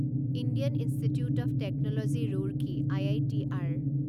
Indian Institute of Technology Roorkee I I T R